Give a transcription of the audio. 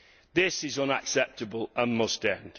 This is unacceptable and must end.